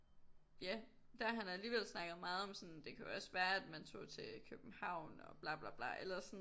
Ja der har han alligevel snakket meget om sådan det kunne være at man tog til København og bla bla bla eller sådan